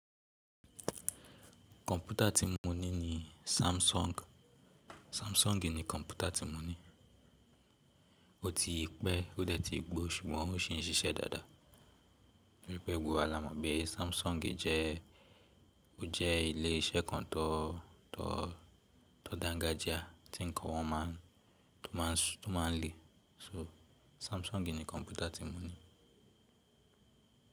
Kọ̀mpútà tí mo ní ni Samsung. Samsung ni kọ̀mpútà tí mo ní. Ó ti pẹ́ ó dẹ̀ ti gbó ṣùgbọ́n ó ṣì ń ṣiṣẹ́ dáadáa. Pe gbogbo wa la mọ̀ bí ẹ́ Samsung jẹ́, ó jẹ́ ilé iṣẹ́ kan tó, tó, tó dangajia tí nǹkan wọn máa ń, tó máa ń lè. So Samsung ni kọ̀mpútà tí mo ní.